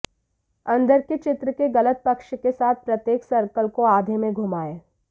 अंदर के चित्र के गलत पक्ष के साथ प्रत्येक सर्कल को आधे में घुमाएं